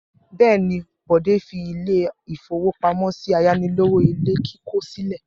Bẹ́ẹ̀ ni, Bọ̀dé fi ilé-ìfowópamọ́sí ayánilówó ilé kíkọ́ sílẹ̀.